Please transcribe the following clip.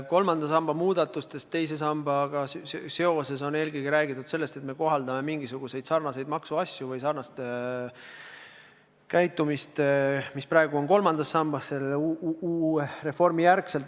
Kolmanda samba muudatustest teise sambaga seoses on räägitud eelkõige seda, et selle uue reformi järel hakkame me kohaldama mingisuguseid sarnaseid maksuasju või sarnast käitumist, nagu praegu on iseloomulik kolmandale sambale.